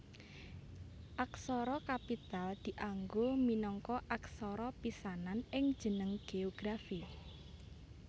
Aksara kapital dianggo minangka aksara pisanan ing jeneng géografi